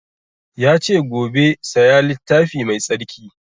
Ya ce gobe saya littafi mai tsarki